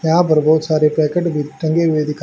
यहां पर बहुत सारे पैकेट भी टंगे हुए दिखा--